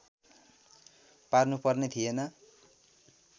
पार्नुपर्ने थिएन